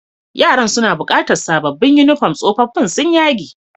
Yaran suna bukatan sabobin uniform, sofofin sun yage.